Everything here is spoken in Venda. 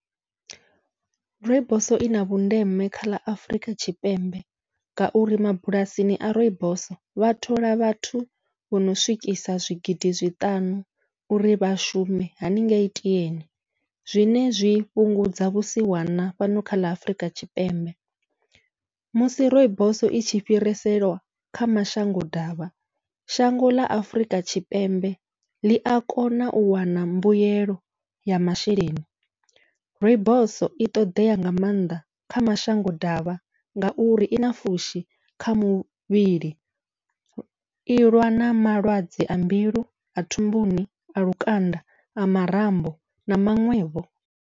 Rooibos ina vhundeme kha ḽa Afurika Tshipembe, ngauri mabulasini a rooibos vha thola vhathu vhono swikisa zwigidi zwiṱanu uri vha shume haningei tieni, zwine zwi fhungudza vhusiwana fhano kha ḽa Afurika Tshipembe, musi rooibos itshi fhiriselwa kha mashango ḓavha, shango ḽa Afurika Tshipembe ḽia kona u wana mbuyelo ya masheleni. Rooibos i ṱoḓea nga maanḓa kha mashango ḓavha, ngauri ina fushi kha muvhili ilwa na malwadze a mbilu, a thumbuni, a lukanda, a marambo na maṅwevho.